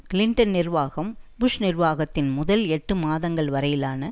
Clinton நிர்வாகம் Bush நிர்வாகத்தின் முதல் எட்டு மாதங்கள் வரையிலான